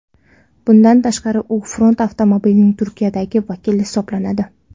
Bundan tashqari u Ford avtomobilining Turkiyadagi vakili hisoblanadi.